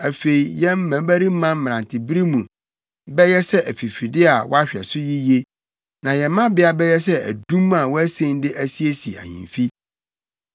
Afei yɛn mmabarima mmerantebere mu bɛyɛ sɛ afifide a wɔahwɛ so yiye, na yɛn mmabea bɛyɛ sɛ adum a wɔasen de asiesie ahemfi.